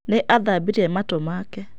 Nĩ athambirie matũ make.